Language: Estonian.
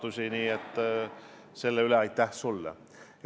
Aga aitäh sulle selle eest!